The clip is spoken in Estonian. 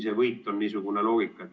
See võit ongi niisugune.